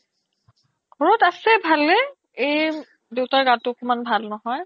ঘৰত আছে ভালে এই দেউতাৰ গাতো একমান ভাল নহয়